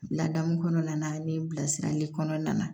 Ladamu kɔnɔna na ni bilasirali kɔnɔna na